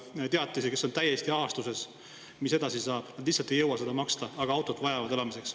on täiesti ahastuses, mis edasi saab, nad lihtsalt ei jõua seda maksta, aga autot vajavad elamiseks.